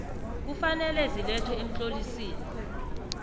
kufanele zilethwe emtlolisini